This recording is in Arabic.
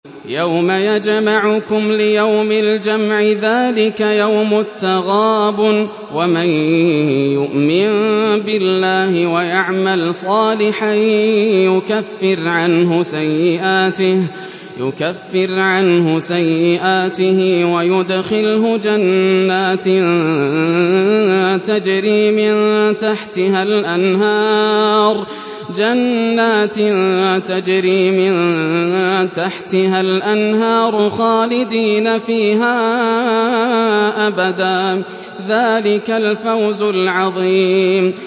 يَوْمَ يَجْمَعُكُمْ لِيَوْمِ الْجَمْعِ ۖ ذَٰلِكَ يَوْمُ التَّغَابُنِ ۗ وَمَن يُؤْمِن بِاللَّهِ وَيَعْمَلْ صَالِحًا يُكَفِّرْ عَنْهُ سَيِّئَاتِهِ وَيُدْخِلْهُ جَنَّاتٍ تَجْرِي مِن تَحْتِهَا الْأَنْهَارُ خَالِدِينَ فِيهَا أَبَدًا ۚ ذَٰلِكَ الْفَوْزُ الْعَظِيمُ